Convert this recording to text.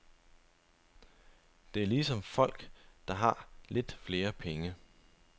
Det er ligesom folk, der har lidt flere penge.